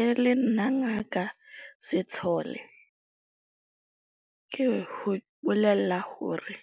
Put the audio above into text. E le nna Ngaka Setshole ke ho bolela hore